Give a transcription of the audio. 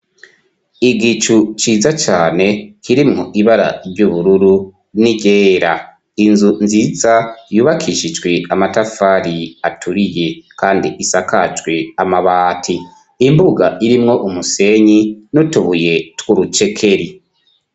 Igicu ciza cane kirimwo ibara ry'ubururu n'iryera, inzu nziza yubakishijwe amatafari aturiye kandi isakajwe amabati, imbuga irimwo umusenyi nutubuye twurucekeri.